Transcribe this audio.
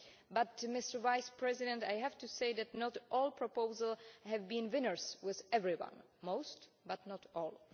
But, Mr Vice President, I have to say that not all proposals have been winners with everyone most, but not all.